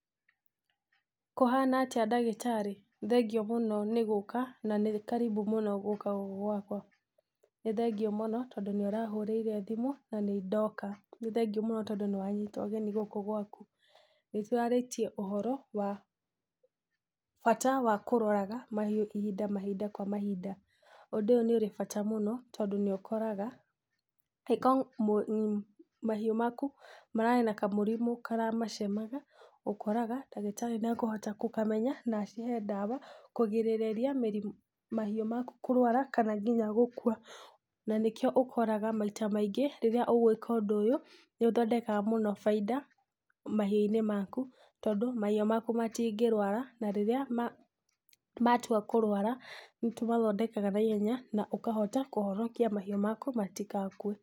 Kũhana atĩa ndagĩtari? thengio mũno nĩ gũka na nĩ karibu ní gũka gũkũ gwakwa, nĩ thengio mũno tondũ nĩ ũrahũrĩire thimũ na nĩ ndoka, nĩ thengio mũno tondũ nĩ wanyita ũgeni, gũkũ gwaku, nĩ tũrarĩtie ũhoro wa, bata wa kũroraga mahiũ, ihinda, mahinda, kwa mahinda, ũndũ ũyũ nĩ ũrĩ bata mũno tondũ nĩ ũkoraga, angĩkorwo mũ mmh mahiũ maku mararĩ na kamũrimũ karamacemaga ũkoraga ndagĩtarĩ nĩ ekũhota gũkamenya na acihe ndawa, kũgirĩrĩria mĩri mahiũ maku kũrwara kana ngĩna gũkua. na nĩkĩo ũkoraga maita maingĩ rĩrĩa ũgwíka ũndũ ũyũ, nĩ ũthondekaga mũno baida mahiũ-inĩ maku, tondũ mahiu maku matingĩrwara, na rĩrĩa ma matua kũrwara, nĩ tũmathondekaga naihenya na ũkahota kũhonokia mahiũ maku matigakue.